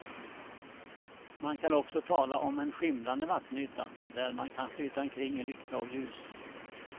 Man kan också tala om en skimrande vattenyta där man kan flyta omkring i lycka och ljus.